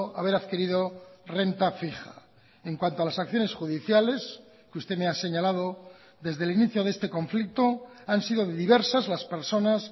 haber adquirido renta fija en cuanto a las acciones judiciales que usted me ha señalado desde el inicio de este conflicto han sido diversas las personas